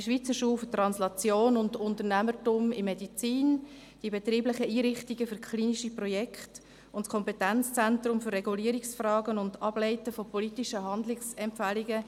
die Schweizer Schule für Translation und Unternehmertum in der Medizin, die betrieblichen Einrichtungen für klinische Projekte sowie das Kompetenzzentrums für Regulierungsfragen und Ableiten von politischen Handlungsempfehlungen.